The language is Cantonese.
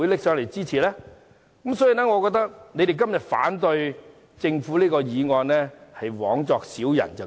因此，我覺得他們今天反對政府這項休會待續議案是枉作小人。